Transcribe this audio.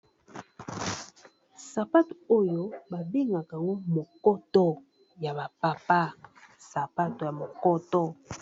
Sapato oyo babengaka yango mokoto ya bapapa sapato ya mokoto.